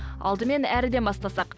алдымен әріден бастасақ